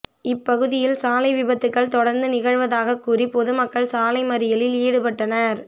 இப்பகுதியில் சாலை விபத்துகள் தொடா்ந்து நிகழ்வதாகக் கூறி பொதுமக்கள் சாலை மறியலில் ஈடுபட்டனா்